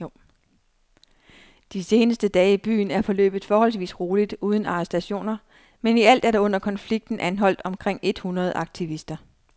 De seneste dage i byen er forløbet forholdsvis roligt uden arrestationer, men i alt er der under konflikten anholdt omkring et hundrede aktivister.